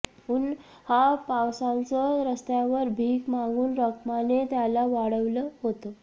उन्हापावसाचं रस्त्यावर भिक मागून रखमाने त्याला वाढवलं होतं